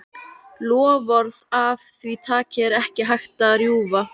Loforð af því tagi er ekki hægt að rjúfa.